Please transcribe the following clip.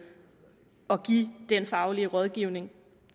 at give den faglige rådgivning